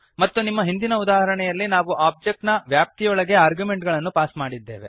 ಮತ್ತು ನಮ್ಮ ಹಿಂದಿನ ಉದಾಹರಣೆಯಲ್ಲಿ ನಾವು ಒಬ್ಜೆಕ್ಟ್ ನ ವ್ಯಾಪ್ತಿಯೊಳಗೆ ಆರ್ಗ್ಯುಮೆಂಟುಗಳನ್ನು ಪಾಸ್ ಮಾಡಿದ್ದೇವೆ